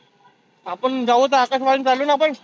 आपण जाऊ तर आकाशवाणी चालो आपण.